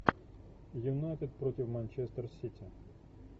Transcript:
юнайтед против манчестер сити